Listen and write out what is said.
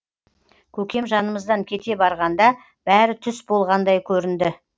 көкем жанымыздан кете барғанда бәрі түс болғандай көрінді